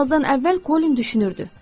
Yatmazdan əvvəl Kolin düşünürdü: